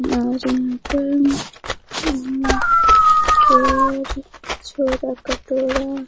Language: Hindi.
और यहाँ पर छोर छोरा कटोरा --